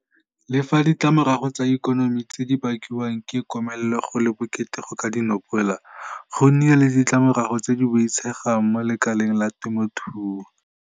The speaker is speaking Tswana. Le fa ditlamorago tsa ikonomi tse di bakiwang ke komelelo go le bokete go ka di nopola, go nnile le ditlamorago tse di boitshegang mo lekaleng la temothuo.